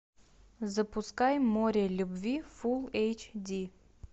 запускай море любви фул эйч ди